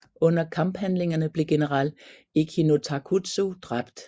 Under kamphandlingerne blev general Echi no Takutsu dræbt